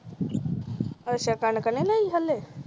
ਅੱਛਾ ਕਣਕ ਨਈ ਲਈ ਹਾਲੇ